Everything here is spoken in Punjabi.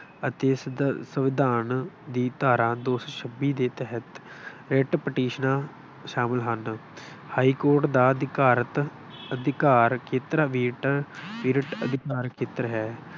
ਅਤੇ ਸੰਵਿ ਸੰਵਿਧਾਨ ਦੀ ਧਾਰਾ ਦੋ ਸੌ ਛੱਤੀ ਦੇ ਤਹਿਤ ਰਿੱਟ ਪਟੀਸ਼ਨਾਂ ਸ਼ਾਮਿਲ ਹਨ। ਹਾਈਕੋਰਟ ਦਾ ਅਧਿਕਾਰਤ ਅਧਿਕਾਰ ਖੇਤਰ period ਅਧਿਕਾਰ ਖੇਤਰ ਹੈ।